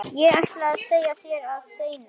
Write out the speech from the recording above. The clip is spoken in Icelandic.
Ég ætlaði að segja þér það seinna.